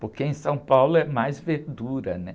Porque em São Paulo é mais verdura, né?